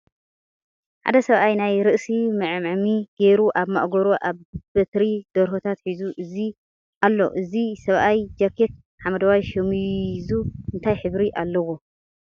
ሓደ ሰብኣይ ናይ ርእሲ መዐመሚ ጌሩ ኣብ ማእገሩ ኣብ በትሪ ደርሆታት ሒዙ ኣሎ እዚ ሰብኣይ ጃኬቱ ሓመደዋይ ሸሚዙ እንታይ ሕብሪ ኣለዎ ?